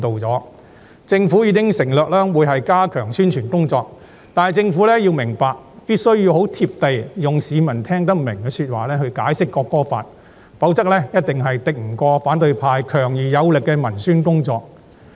政府已承諾會加強宣傳工作，但政府必須很"貼地"，用市民聽得明白的說話來解釋《條例草案》，否則一定敵不過反對派強而有力的文宣工作。